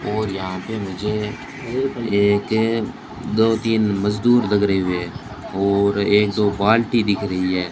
और यहां पे मुझे एक या दो तीन मजदूर लगरे हुए है और एक दो बाल्टी दिख रही है।